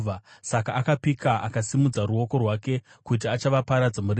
Saka akapika akasimudza ruoko rwake kuti achavaparadza murenje,